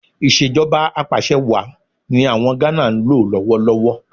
Ìṣèjọba Apàṣẹwàá ni àwọn Gánà ń lò lọ́wọ́ lọ́wọ́